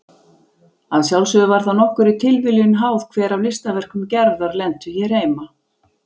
Að sjálfsögðu var það nokkurri tilviljun háð hver af listaverkum Gerðar lentu hér heima.